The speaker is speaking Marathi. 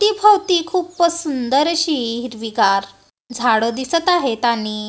तीभवती खूपच सुंदर अशी हिरवीगार झाडं दिसत आहेत आणि--